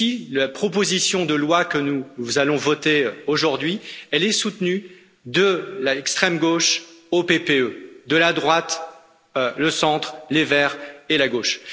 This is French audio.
La proposition de loi que nous allons voter aujourd'hui est soutenue de l'extrême gauche au PPE, par la droite, le centre, les Verts et la gauche.